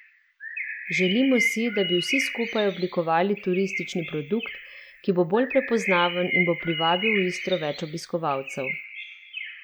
Želimo si, da bi vsi skupaj oblikovali turistični produkt, ki bo bolj prepoznaven in bo privabil v Istro več obiskovalcev.